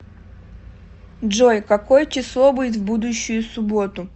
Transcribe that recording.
джой какое число будет в будущую субботу